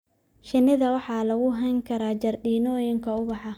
Shinnida waxaa lagu hayn karaa jardiinooyinka ubaxa.